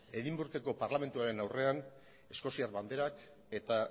edimburgoko parlamentuaren aurrean eskoziar banderak eta